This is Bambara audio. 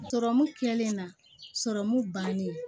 Sɔrɔmu kɛlen na sɔrɔmu bannen